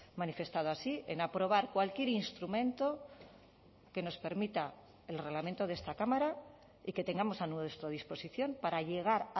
manifestado así en aprobar cualquier instrumento que nos permita el reglamento de esta cámara y que tengamos a nuestra disposición para llegar